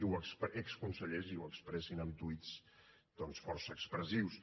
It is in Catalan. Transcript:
exconsellers i ho expressin amb tuits doncs força expressius